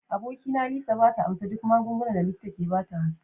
Abokina Lisa ba ta amsa duk magungunan da likita ke ba ta ba.